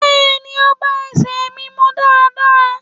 Bẹẹni, o ba èse mí mú daradara.